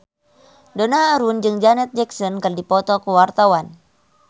Donna Harun jeung Janet Jackson keur dipoto ku wartawan